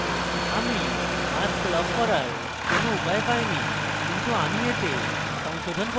আমি mask lock করার কোনো উপায় পাইনি কিন্তু আমি এতে সংশোধন করতে পারি